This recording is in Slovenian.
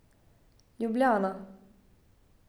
Ljubljana.